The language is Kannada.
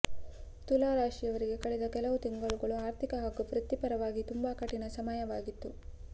ತುಲಾ ರಾಶಿಯವರಿಗೆ ಕಳೆದ ಕೆಲವು ತಿಂಗಳುಗಳು ಆರ್ಥಿಕ ಹಾಗೂ ವೃತ್ತಿಪರವಾಗಿ ತುಂಬಾ ಕಠಿಣ ಸಮಯವಾಗಿತ್ತು